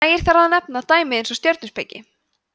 nægir þar að nefna dæmi eins og stjörnuspeki